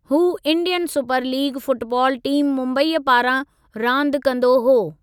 हू Indian super league football team मुंबईअ पारां रांदि कंदो हो।